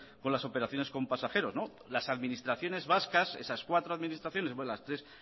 con las operaciones con pasajeros las administraciones vascas esas cuatro administraciones las tres